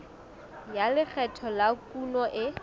ya lekgetho la kuno e